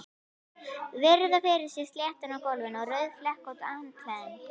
Virða fyrir sér sletturnar á gólfinu og rauðflekkótt handklæðið.